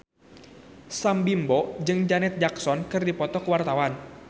Sam Bimbo jeung Janet Jackson keur dipoto ku wartawan